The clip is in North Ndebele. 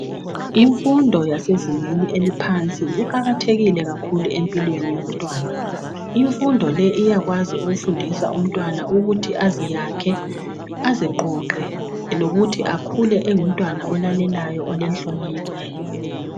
Imfundo yasezingeni eliphansi iqakathekile kakhulu empilweni yomntwana imfundo le iyakwanisa ukufundisa umntwana ukuthi aziyakhe aziqoqe lokuthi akhule engumntwana olalelayo olenhlonipho